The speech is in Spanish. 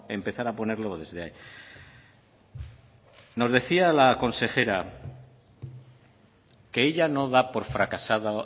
empezar a ponerlo desde ahí nos decía la consejera que ella no da por fracasado